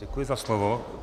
Děkuji za slovo.